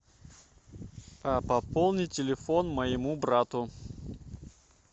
а пополни телефон моему брату